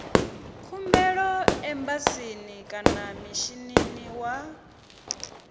khumbelo embasini kana mishinini wa